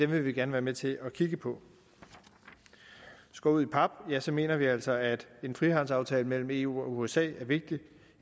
vi gerne være med til at kigge på skåret ud i pap mener vi altså at en frihandelsaftale mellem eu og usa er vigtig